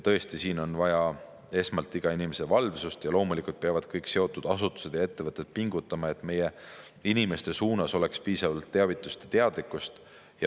Tõesti, siin on vaja esmalt iga inimese valvsust ja loomulikult peavad kõik seotud asutused ja ettevõtted pingutama, et meie inimeste suunas oleks piisavalt teavitust ja teadlikkust.